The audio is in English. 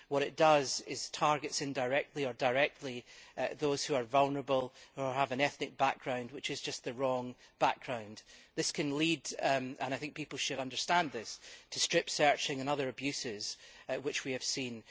What it does is target indirectly or directly those who are vulnerable, who have an ethnic background which is just the wrong background This can lead and I think people should understand this to strip searches and other abuses which we have seen.